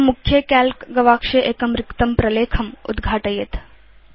इदं मुख्ये काल्क गवाक्षे एकं रिक्तं प्रलेखम् उद्घाटयेत्